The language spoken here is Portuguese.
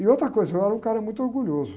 E outra coisa, eu era um cara muito orgulhoso.